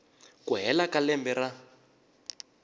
ku hela ka lembe ra